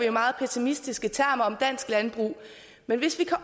i meget pessimistiske termer om dansk landbrug men hvis vi kan